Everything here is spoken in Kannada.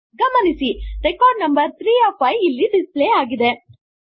ಗಮನಿಸಿ ರೆಕಾರ್ಡ್ ನಂಬರ್ 3 ಒಎಫ್ 5 ಇಲ್ಲಿ ಡಿಸ್ ಪ್ಲೇ ಆಗಿದೆ